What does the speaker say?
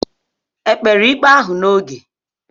Ekpere ikpe ahụ n'oge?